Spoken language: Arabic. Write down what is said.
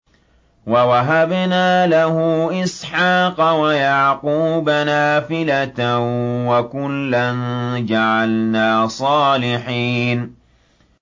وَوَهَبْنَا لَهُ إِسْحَاقَ وَيَعْقُوبَ نَافِلَةً ۖ وَكُلًّا جَعَلْنَا صَالِحِينَ